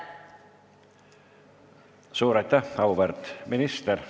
Suur aitäh, auväärt minister!